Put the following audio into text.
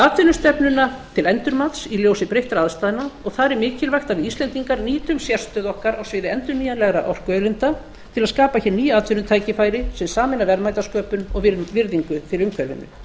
atvinnustefnuna til endurmats í ljósi breyttra aðstæðna og þar er mikilvægt að við íslendingar nýtum sérstöðu okkar á sviði endurnýjanlegra orkuauðlinda til að skapa hér ný atvinnutækifæri sem sameina verðmætasköpun og virðingu fyrir umhverfinu